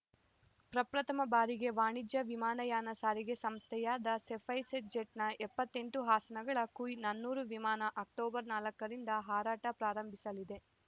ಪ್ರಪ್ರಥಮ ಬಾರಿಗೆ ವಾಣಿಜ್ಯ ವಿಮಾನಯಾನ ಸಾರಿಗೆ ಸಂಸ್ಥೆಯಾದ ಸ್ಪೈಸ್‌ಜೆಟ್‌ನ ಎಪ್ಪತ್ತ್ ಎಂಟು ಆಸನಗಳ ಕ್ಯೂ ನಾನೂರು ವಿಮಾನ ಅಕ್ಟೋಬರ್‌ ನಾಲ್ಕ ರಿಂದ ಹಾರಾಟ ಪ್ರಾರಂಭಿಸಲಿದೆ